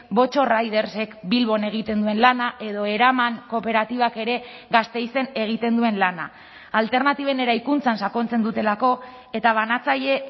botxo ridersek bilbon egiten duen lana edo eraman kooperatibak ere gasteizen egiten duen lana alternatiben eraikuntzan sakontzen dutelako eta banatzaile